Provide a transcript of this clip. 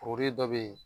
Kuru dɔ be yen